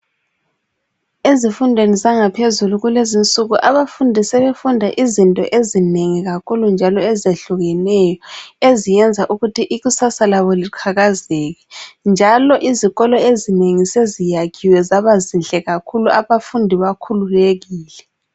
Ezifundweni zangaphezulu kulezinsuku abafundi sebefunda izinto ezinengi kakhulu njalo ezehlukeneyo eziyenza ukuthi ikusasa labo liqhakazeke njalo izikolo ezinengi seziyakhiwe zabazinhle kakhulu abafundi bakhululekile.